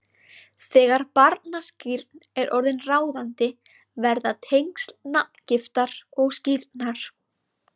Þegar barnaskírn er orðin ráðandi verða tengsl nafngiftar og skírnar